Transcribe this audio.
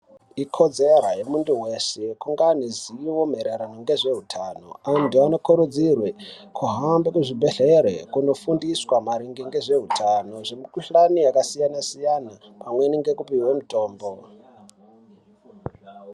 Ikodzero yemuntu weshe kunge aine zivo maererano nezveutano antu anokurudzirwe kuhambe kuzvibhedhlera kunofundiswa maringe ngezveutano zvemikuhlani yakasiyana siyana pamwe ngekuoihwe mitombo .